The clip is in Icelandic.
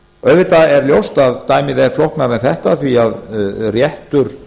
auðvitað er ljóst að dæmið er flóknara en þetta því að réttur